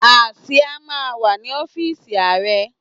Àsìá máa ń wà ní ọ́fíísì Ààrẹ.